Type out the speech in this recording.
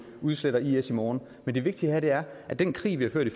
udsletter is i morgen men det vigtige her er at den krig vi har ført i